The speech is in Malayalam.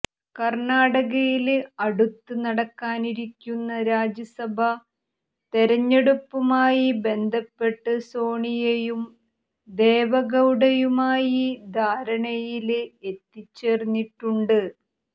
കര്ണ്ണാടകയില് അടുത്ത് നടക്കാനിരിക്കുന്ന രാജ്യസഭ തെരഞ്ഞെടുപ്പുമായി ബന്ധപ്പെട്ട് സോണിയയും ദേവഗൌഡയുമായി ധാരണയില് എത്തിച്ചേര്ന്നിട്ടുണ്ട്